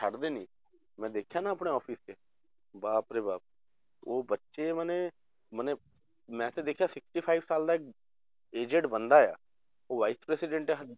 ਛੱਡਦੇ ਨੀ ਮੈਂ ਦੇਖਿਆ ਨਾ ਆਪਣੇ office 'ਚ ਬਾਪ ਰੇ ਬਾਪ ਉਹ ਬੱਚੇ ਮਨੇ ਮਨੇ ਮੈਂ ਤਾਂ ਦੇਖਿਆ sixty five ਸਾਲ ਦਾ ਇੱਕ aged ਬੰਦਾ ਆ ਉਹ vice president ਹੈ ਸਾਡੀ